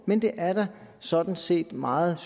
men det er sådan set meget